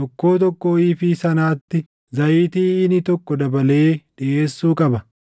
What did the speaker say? tokkoo tokkoo iifii sanaatti zayitii iinii tokko dabalee dhiʼeessuu qaba.